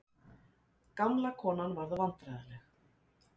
Gamla konan varð vandræðaleg.